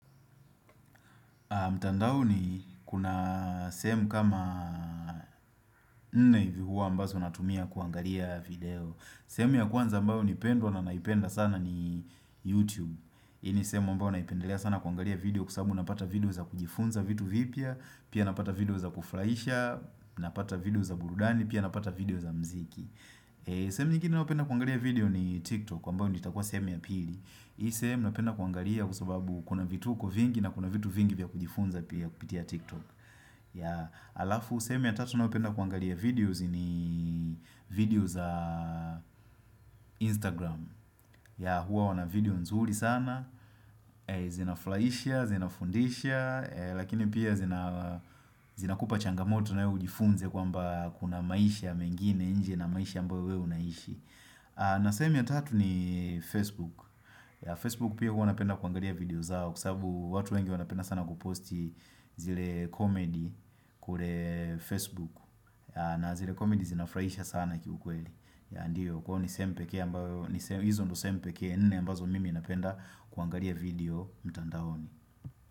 Mtandao ni kuna sehemu kama nne hivi huwa ambazo natumia kuangalia video sehemu ya kwanza mbayo ni pendwa na naipenda sana ni YouTube Hii ni sehemu ambayo naipendelea sana kuangalia video kwasababu napata video za kujifunza vitu vipya Pia napata video za kufurahisha, napata video za burudani, pia napata video za mziki sehemu nyingine ninayopenda kuangalia video ni TikTok ambayo ni itakuwa sehemu ya pili Hii sehemu napenda kuangalia kwasababu kuna vitu vingi na kuna vitu vingi vya kujifunza pia kupitia TikTok Halafu sehemu ya tatu ninayopenda kuangalia videos ni videos za Instagram huwa wana video nzuri sana, zinafurahisha, zina fundisha Lakini pia zina kupa changamoto na wewe ujifunze kwamba kuna maisha mengine nje na maisha ambayo wewe unaishi na semi ya tatu ni Facebook Facebook pia huwa napenda kwangalia video zao Kwasababu watu wengi wana penda sana kuposti zile comedy kule Facebook na zile comedy zinafurahisha sana kiukweli Kwahiyo ni sehemu pekee ambayo, hizo ndio sehemu pekee nne ambazo mimi napenda kwangalia video mtandaoni.